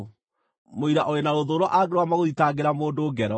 Mũira ũrĩ na rũthũũro angĩrũgama gũthitangĩra mũndũ ngero,